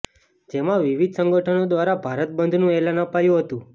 જેમાં વિવિધ સંગઠનો દ્વારા ભારત બંધનુ એલાન અપાયું હતું